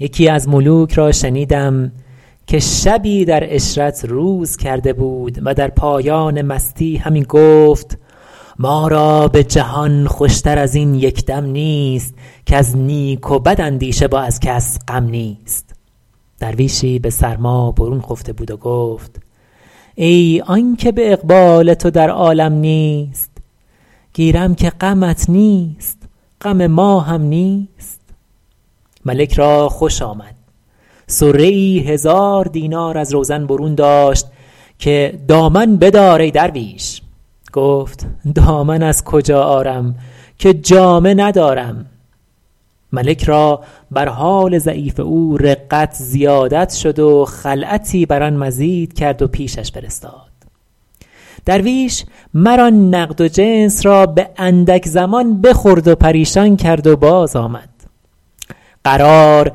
یکی از ملوک را شنیدم که شبی در عشرت روز کرده بود و در پایان مستی همی گفت ما را به جهان خوش تر از این یک دم نیست کز نیک و بد اندیشه و از کس غم نیست درویشی به سرما برون خفته بود و گفت ای آن که به اقبال تو در عالم نیست گیرم که غمت نیست غم ما هم نیست ملک را خوش آمد صره ای هزار دینار از روزن برون داشت که دامن بدار ای درویش گفت دامن از کجا آرم که جامه ندارم ملک را بر حال ضعیف او رقت زیادت شد و خلعتی بر آن مزید کرد و پیشش فرستاد درویش مر آن نقد و جنس را به اندک زمان بخورد و پریشان کرد و باز آمد قرار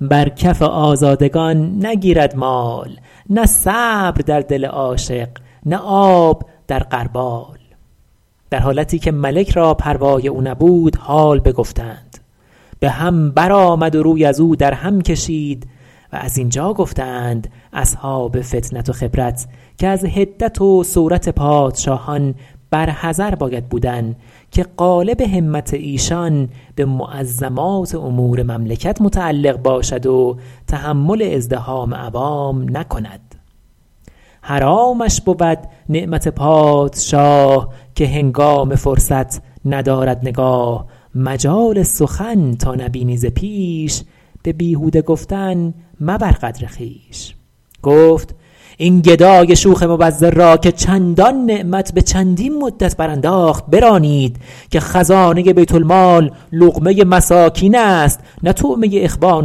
بر کف آزادگان نگیرد مال نه صبر در دل عاشق نه آب در غربال در حالتی که ملک را پروای او نبود حال بگفتند به هم بر آمد و روی ازو در هم کشید و زین جا گفته اند اصحاب فطنت و خبرت که از حدت و سورت پادشاهان بر حذر باید بودن که غالب همت ایشان به معظمات امور مملکت متعلق باشد و تحمل ازدحام عوام نکند حرامش بود نعمت پادشاه که هنگام فرصت ندارد نگاه مجال سخن تا نبینی ز پیش به بیهوده گفتن مبر قدر خویش گفت این گدای شوخ مبذر را که چندان نعمت به چندین مدت برانداخت برانید که خزانه بیت المال لقمه مساکین است نه طعمه اخوان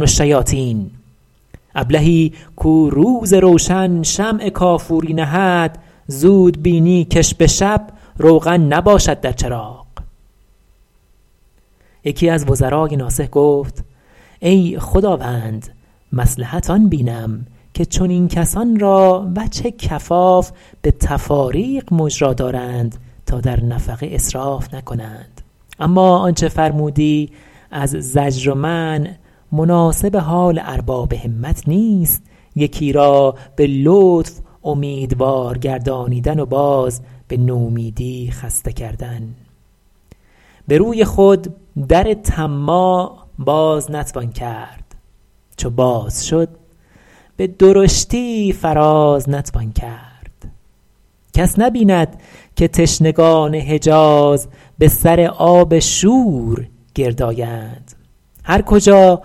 الشیاطین ابلهی کو روز روشن شمع کافوری نهد زود بینی کش به شب روغن نباشد در چراغ یکی از وزرای ناصح گفت ای خداوند مصلحت آن بینم که چنین کسان را وجه کفاف به تفاریق مجرا دارند تا در نفقه اسراف نکنند اما آنچه فرمودی از زجر و منع مناسب حال ارباب همت نیست یکی را به لطف اومیدوار گردانیدن و باز به نومیدی خسته کردن به روی خود در طماع باز نتوان کرد چو باز شد به درشتی فراز نتوان کرد کس نبیند که تشنگان حجاز به سر آب شور گرد آیند هر کجا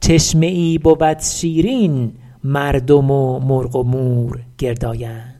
چشمه ای بود شیرین مردم و مرغ و مور گرد آیند